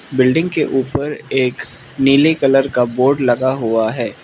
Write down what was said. Building के ऊपर एक नीले कलर का बोर्ड लगा हुआ है।